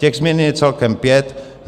Těch změn je celkem pět.